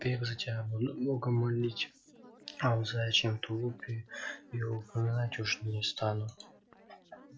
век за тебя буду бога молить а о заячьем тулупе и упоминать уж не стану